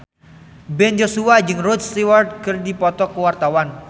Ben Joshua jeung Rod Stewart keur dipoto ku wartawan